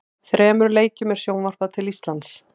Þremur leikjum er sjónvarpað til Íslands.